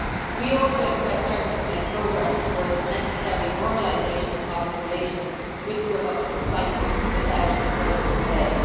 We also expect Turkey to make progress towards the necessary normalisation of its relations with the Republic of Cyprus without further delay.